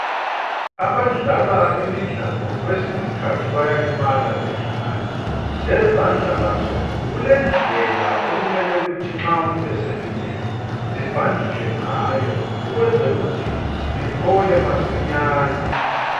abadlala imidlalo kwesinye iskhathi bayalimala bedlala lezandla lazo kulendlela okumele ukuthi nxa umuntu eselimele zibhanditshwe ngazo ukwenzela ukuthi ziphole masinyane